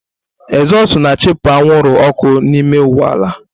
Ezozu na-achụpụ anwụrụ ọkụ n'ime ụgbọ ala.